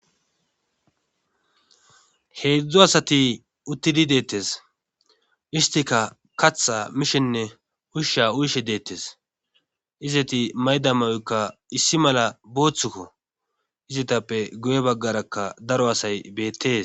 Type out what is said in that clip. heedzdzu asati uttidii de'ettes istika kaththa mishshenne uushsha uyishshe de'ettes izeti may'da mayoykka issi mala booththukko izetappe guye baggarakka daro asay beettees